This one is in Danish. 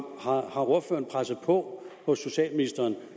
har ordføreren presset på hos socialministeren